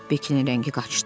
Bekkinin rəngi qaçdı.